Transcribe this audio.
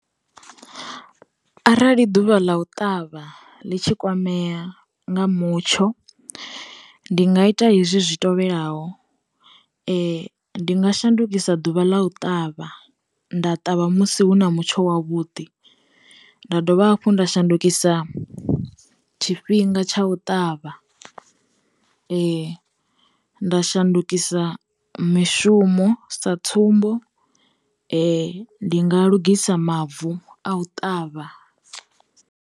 Arali ḓuvha ḽa u ṱavha ḽi tshi kwamea nga mutsho, ndi nga ita hezwi zwi tevhelaho, ndi nga shandukisa ḓuvha ḽa u ṱavha nda ṱavha musi hu na mutsho wa vhuḓi, nda dovha hafhu nda shandukisa tshifhinga tsha u ṱavha, nda shandukisa mishumo, sa tsumbo ndi nga lugisa mavu a u ṱavha.